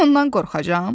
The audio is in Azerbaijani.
Mən ondan qorxacam?